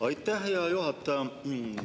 Aitäh, hea juhataja!